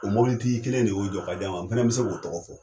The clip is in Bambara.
O mobilitigi kelen de y'o jɔ k'a di a ma, n fɛnɛ bi se k'o tɔgɔ fɔ